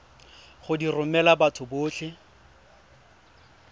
go di romela batho botlhe